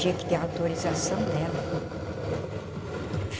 Tinha que ter autorização dela.